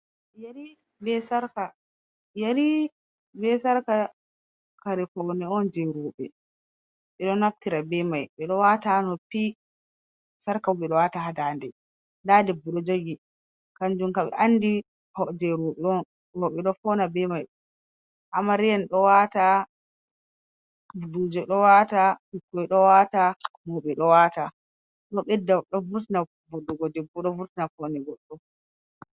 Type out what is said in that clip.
Ƴeri be sarka kare foune on je roɓe ɓeɗo naftira bemai ɓeɗo wata ha noppi sarka bo ha da'nde. Nda debbo dou jogi kanjun kam dou andi je roɓe on. Woɓɓe dou fauna bei mai. Amarya en dou wata, buduje dou wata, ɓikkoi dou wata, mauɓe dou wata. Dou vurtina voɗugo goɗɗo, ɗo vurtina paune goɗɗo.